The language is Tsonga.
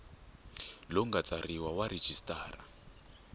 lowu nga tsariwa wa registrar